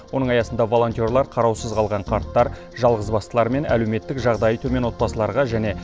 оның аясында волонтерлар қараусыз қалған қарттар жалғызбастылар мен әлеуметтік жағдайы төмен отбасыларға және